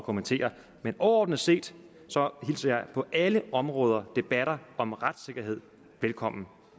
kommentere men overordnet set hilser jeg på alle områder debatter om retssikkerheden velkommen